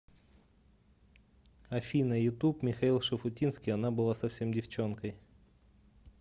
афина ютуб михаил шуфутинский она была совсем девчонкой